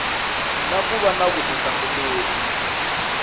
na ku va na vutihlamuleri